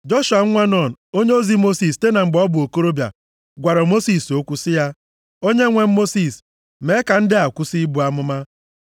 Joshua nwa Nun, onyeozi Mosis site na mgbe ọ bụ okorobịa, gwara Mosis okwu sị ya, “Onyenwe m Mosis, mee ka ndị a kwụsị ibu amụma.”